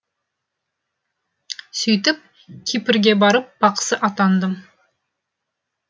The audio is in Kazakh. сөйтіп кипрге барып бақсы атандым